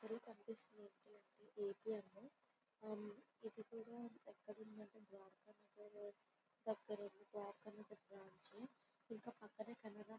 ఇక్కడ కనిపిస్తుంది మనకి ఎటిఎం . ఇది కూడా ఎక్కడ ఉంది అంటే ద్వారకా నగరం లో ఇంకా పక్కనే--